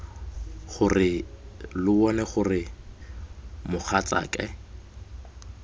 gore lo bone gore mogatsake